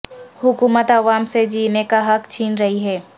حکومت عوام سے جینے کا حق چھین رہی ہے